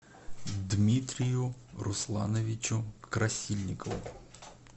дмитрию руслановичу красильникову